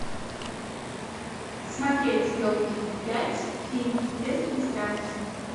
смотреть елки пять фильм без регистрации